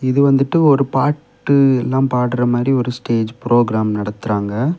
இது வந்துட்டு ஒரு பாட்டு எல்லாம் பாடுற மாறி ஒரு ஸ்டேஜ் ப்ரோக்ராம் நடத்துறாங்க.